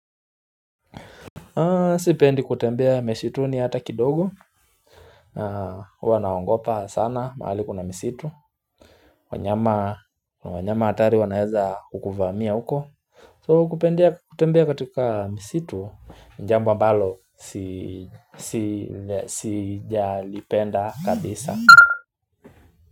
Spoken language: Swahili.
Sipendi kutembea misituni hata kidogo huwa naongopa sana mahali kuna misitu wanyama wanyama hatari wanaweza kukuvamia huko So kupendia kutembea katika misitu jambo ambalo si si sijalipenda kabisa.